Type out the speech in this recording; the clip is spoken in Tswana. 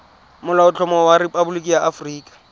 molaotlhomo wa rephaboliki ya aforika